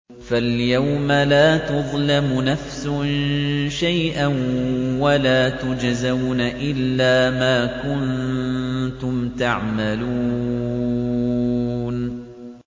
فَالْيَوْمَ لَا تُظْلَمُ نَفْسٌ شَيْئًا وَلَا تُجْزَوْنَ إِلَّا مَا كُنتُمْ تَعْمَلُونَ